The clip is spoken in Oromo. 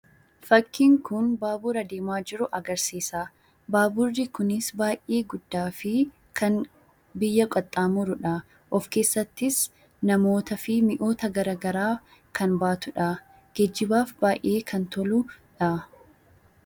Fakkiin kun baabura deemaa jiru agarsiisa. Baaburri kunis baay'ee guddaa fi biyya qaxxaamurudha. Of keessattis namootaa fi mi'oota garaa garaa kan baatudha. Geejibaafis baay'ee kan toludha.